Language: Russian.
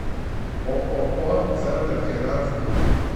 ооо центрофинанс групп